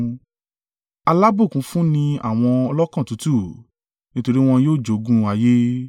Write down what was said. Alábùkún fún ni àwọn ọlọ́kàn tútù, nítorí wọn yóò jogún ayé.